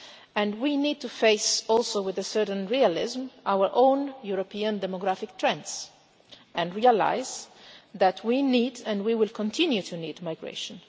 And we need to face also with a certain realism our own European demographic trends and realise that we need and we will continue to need migration.